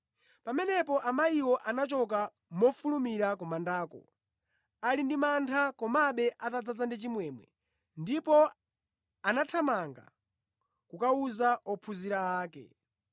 Pamenepo amayiwo anachoka mofulumira ku mandako ali ndi mantha komabe atadzaza ndi chimwemwe, ndipo anathamanga kukawuza ophunzira ake.